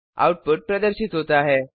output प्रदर्शित होता है